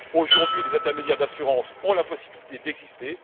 Aujourd'hui, les intermédiaires d'assurance ont la possibilité d'exister.